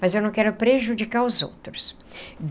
Mas eu não quero prejudicar os outros.